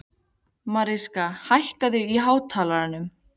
Mariska, hækkaðu í hátalaranum.